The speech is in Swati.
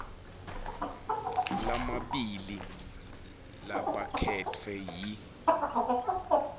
lamabili labakhetfwe yi